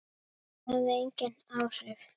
Það hafði engin áhrif.